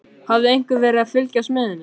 Hafði einhver verið að fylgjast með henni?